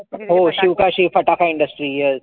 हो शिवकाशी फटाका industry yes,